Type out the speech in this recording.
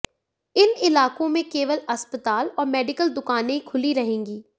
इन इलाकों में केवल अस्पताल और मेडिकल दुकानें खुली रहेंगी